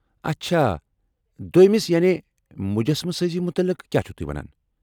اچھا دوٚیمِس یعنی مجسمہٕ سٲزی متعلق کیاہ چِھو تُہۍ ونان؟